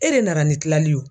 E de nana ni tilali yo